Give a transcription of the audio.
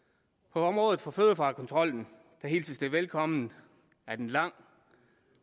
på området for fødevarekontrollen hilses det velkomment at en langt